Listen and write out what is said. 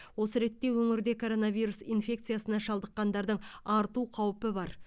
осы ретте өңірде коронавирус инфекциясына шалдыққандардың арту қаупі бар